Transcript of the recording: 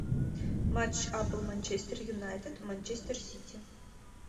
матч апл манчестер юнайтед манчестер сити